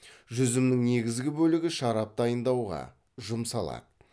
жүзімнің негізгі бөлігі шарап дайындауға жұмсалады